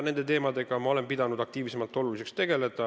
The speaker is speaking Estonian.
Ma olen pidanud oluliseks nende teemadega aktiivselt tegeleda.